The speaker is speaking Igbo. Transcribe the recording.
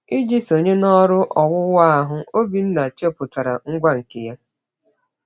Iji sonye n’ọrụ owuwu ahụ, Obinna chepụtara ngwa nke ya.